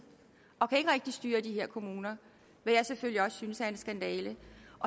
og de kan ikke rigtig styre de her kommuner hvad jeg selvfølgelig også synes er en skandale